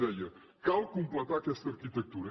deia cal completar aquesta arquitectura